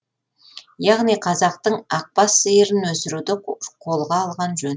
яғни қазақтың ақ бас сиырын өсіруді қолға алған жөн